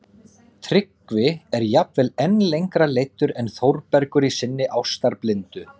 Tryggvi er jafnvel enn lengra leiddur en Þórbergur í sinni ástarblindu